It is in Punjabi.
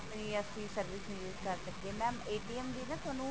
ਆਪਣੀ ਅਸੀਂ service ਨਹੀਂ use ਕਰ ਸਕਦੇ mam ਵੀ ਨਾ ਤੁਹਾਨੂੰ